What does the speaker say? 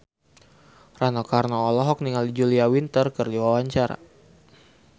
Rano Karno olohok ningali Julia Winter keur diwawancara